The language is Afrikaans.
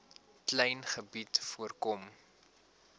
klein gebied voorkom